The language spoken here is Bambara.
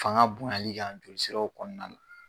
Fanga bonyali kan joli siraw kɔnɔna na